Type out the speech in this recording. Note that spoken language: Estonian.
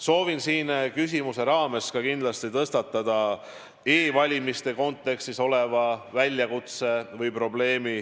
Soovin küsimuse raames kindlasti tõstatada e-valimiste kontekstis oleva väljakutse või probleemi.